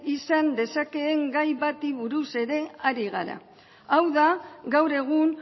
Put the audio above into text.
izan dezakeen gai bati buruz ere ari gara hau da gaur egun